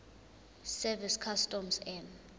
service customs and